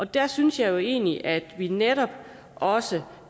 der synes jeg jo egentlig at vi netop også